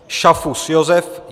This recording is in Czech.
Šafus Josef